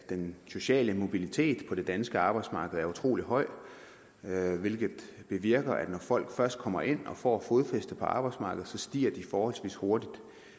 den sociale mobilitet på det danske arbejdsmarked er utrolig høj hvilket bevirker at når folk først kommer ind og får fodfæste på arbejdsmarkedet stiger de forholdsvis hurtigt